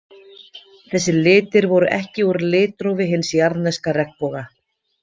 Þessir litir voru ekki úr litrófi hins jarðneska regnboga.